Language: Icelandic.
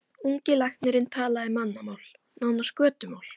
Ungi læknirinn talaði mannamál, nánast götumál.